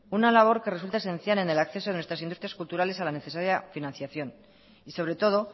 una labor que resulta esencial en el acceso a nuestras industrias culturales a la necesaria financiación y sobre todo